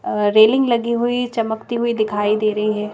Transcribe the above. अ railing लगी हुई चमकती हुई दिखाई दे रही है।